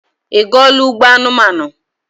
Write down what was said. Ị gụọla Ugbo anumanu?